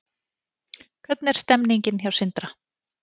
Hvernig er stemningin hjá Sindra?